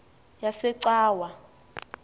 yasecawa